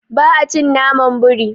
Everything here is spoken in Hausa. Ba a cin naman biri.